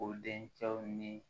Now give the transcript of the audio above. O dencɛw ni